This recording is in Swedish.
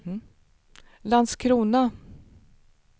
Landskrona